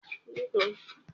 Bẹẹni, Mo n lọ si ilé ìtajà